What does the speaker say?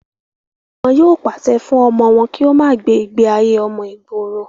wọn yóò pàṣẹ fún ọmọ wọn kí ó má gbé ìgbé ayé ọmọ ìgboro